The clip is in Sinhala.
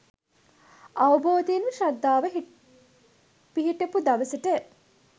අවබෝධයෙන්ම ශ්‍රද්ධාව පිහිටපු දවසට